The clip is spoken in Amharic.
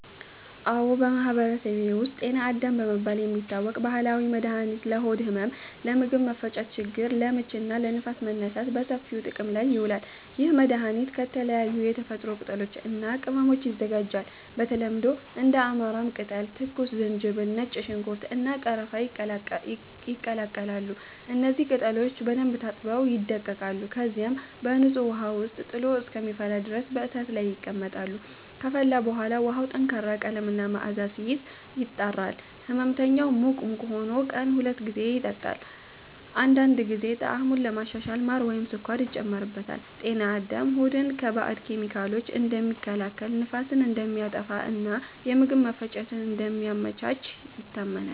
አዎ፣ በማህበረሰቤ ውስጥ “ጤና አዳም” በመባል የሚታወቅ ባህላዊ መድኃኒት ለሆድ ህመም፣ ለምግብ መፈጨት ችግር (ለምች) እና ለንፋስ መነሳት በሰፊው ጥቅም ላይ ይውላል። ይህ መድኃኒት ከተለያዩ የተፈጥሮ ቅጠሎች እና ቅመሞች ይዘጋጃል። በተለምዶ እንደ አማራም ቅጠል፣ ትኩስ ዝንጅብል፣ ነጭ ሽንኩርት፣ እና ቀረፋ ይቀላቀላሉ። እነዚህ ቅጠሎች በደንብ ታጥበው ይደቀቃሉ፣ ከዚያም በንጹህ ውሃ ውስጥ ጥሎ እስከሚፈላ ድረስ በእሳት ላይ ይቀመጣሉ። ከፈላ በኋላ ውሃው ጠንካራ ቀለም እና መዓዛ ሲይዝ፣ ይጣራል። ሕመምተኛው ሙቅ ሙቅ ሆኖ ቀን ሁለት ጊዜ ይጠጣዋል። አንዳንድ ጊዜ ጣዕሙን ለማሻሻል ማር ወይም ስኳር ይጨመርበታል። “ጤና አዳም” ሆድን ከባድ ኬሚካሎች እንደሚከላከል፣ ንፋስን እንደሚያጠፋ እና የምግብ መፈጨትን እንደሚያመቻች ይታመናል።